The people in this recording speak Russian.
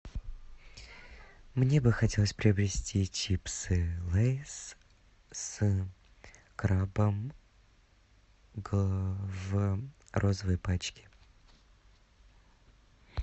мне бы хотелось приобрести чипсы лейс с крабом в розовой пачке